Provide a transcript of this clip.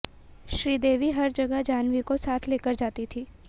श्रीदेवी हर जगह जाह्नवी को साथ लेकर जाती थीं